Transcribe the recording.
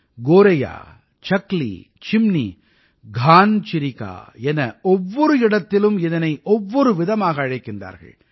கோரையா சக்லீ சிம்னீ கான் சிரிகா என ஒவ்வொரு இடத்திலும் இதனை ஒவ்வொரு விதமாக அழைக்கிறார்கள்